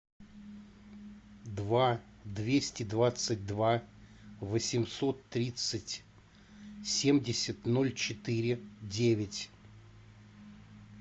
два двести двадцать два восемьсот тридцать семьдесят ноль четыре девять